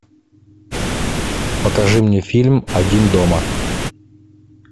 покажи мне фильм один дома